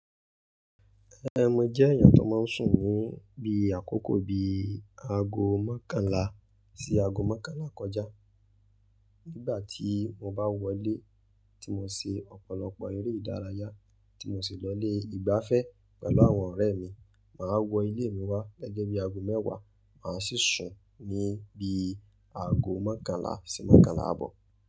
Ẹe, mo jẹ́ èèyàn tó máa ń sùn ni bí i àkókò bi i aago mọ́kànlá sí aago mọ́kànlá kọjá. Nígbà tí mo bá wọlé tí mo ṣe ọ̀pọ̀lọpọ̀ eré ìdárayá tí mo sì lọ ilé ìgbáfẹ́ pẹ̀lú àwọn ọ̀rẹ́ mi, màá wọ ilé mi wá gẹ́gẹ́ bí aago mẹ́wàá, màá sì sùn ni bí i aago mọ́kànlá sí mọ́kànlá àbọ̀.